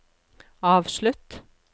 avslutt